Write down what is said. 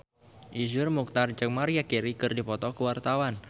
Iszur Muchtar jeung Maria Carey keur dipoto ku wartawan